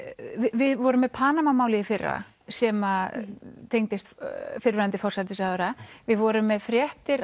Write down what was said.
við vorum með Panama málið í fyrra sem tengdist fyrrverandi forsætisráðherra við vorum með fréttir